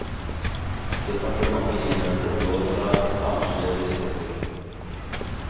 Departementet innhentet råd fra samtlige biskoper.